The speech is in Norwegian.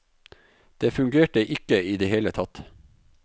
Det fungerte ikke i det hele tatt.